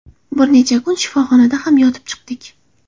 Bir necha kun shifoxonada ham yotib chiqdik.